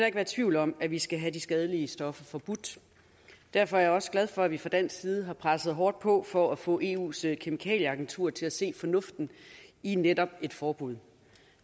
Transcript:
ikke være tvivl om at vi skal have de skadelige stoffer forbudt derfor er jeg også glad for at vi fra dansk side har presset hårdt på for at få eus kemikalieagentur til at se fornuften i netop et forbud